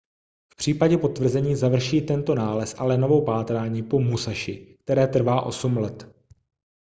v případě potvrzení završí tento nález allenovo pátrání po musashi které trvá osm let